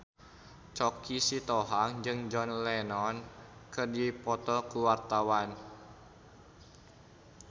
Choky Sitohang jeung John Lennon keur dipoto ku wartawan